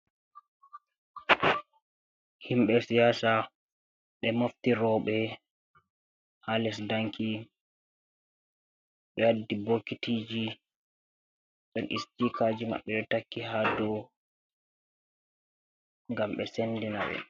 Himbe siyasa be mofti robe ha le sdanki be waddi boketiji don stikaji mabbe do takki ha do gam be sendina be.